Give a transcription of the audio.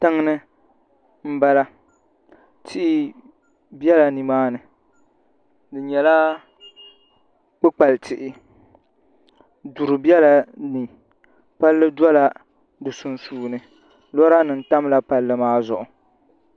tiŋa ni m-bala tihi bela ni maani di nyɛla kpukpalitihi duri bela ni palli dɔla di sunsuuni loorinima tamla palli maa zuɣu